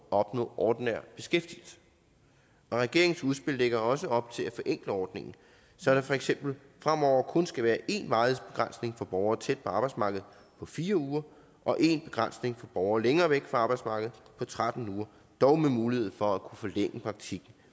opnå ordinær beskæftigelse og regeringens udspil lægger også op til at forenkle ordningen så der for eksempel fremover kun skal være én varighedsbegrænsning for borgere tæt på arbejdsmarkedet på fire uger og én begrænsning for borgere længere væk fra arbejdsmarkedet på tretten uger dog med mulighed for at kunne forlænge praktikken